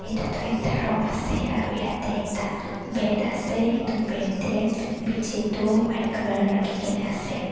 Eteh tuh ekta room ase aro yatheh ekta bed ase etu bed teh bechi du white colour rakhikena ase.